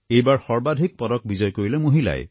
এইবাৰ সৰ্বাধিক পদক বিজয় কৰিলে মহিলাই